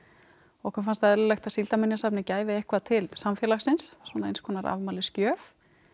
okkur fannst eðlilegt að Síldarminjasafnið gæfi eitthvað til samfélagsins eins konar afmælisgjöf